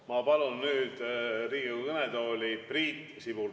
Ma palun Riigikogu kõnetooli Priit Sibula.